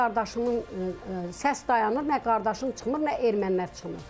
Nə qardaşımın səs dayanır, nə qardaşım çıxmır, nə ermənilər çıxmır.